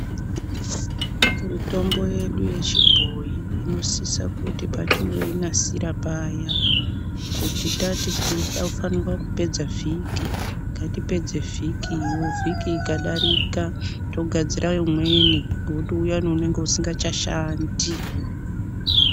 Mitombo yedu yechibhoyi inosisa kuti patinoinasira paya kuti tati tinofanirwa kupedza vhiki ngatipedze vhiki iyoo vhiki ikadarika togarzira imweni ngokuti uyani unenge usingachashandi.